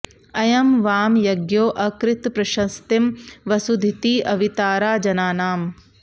अ॒यं वां॑ य॒ज्ञो अ॑कृत॒ प्रश॑स्तिं॒ वसु॑धिती॒ अवि॑तारा जनानाम्